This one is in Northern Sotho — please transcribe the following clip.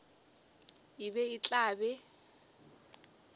e be e tla be